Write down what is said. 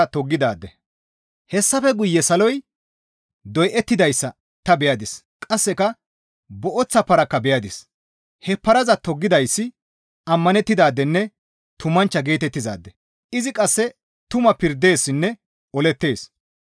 Hessafe guye saloy doyettidayssa ta beyadis; qasseka booththa parakka beyadis; he paraza toggidayssi ammanettidaadenne tumanchcha geetettizaade; izi qasse tuma pirdeessinne olettees.